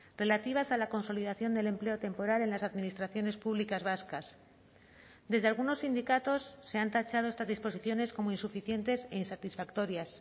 relativas a la consolidación del empleo temporal en las administraciones públicas vascas desde algunos sindicatos se han tachado estas disposiciones como insuficientes e insatisfactorias